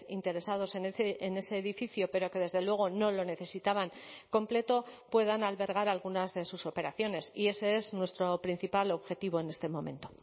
interesados en ese edificio pero que desde luego no lo necesitaban completo puedan albergar algunas de sus operaciones y ese es nuestro principal objetivo en este momento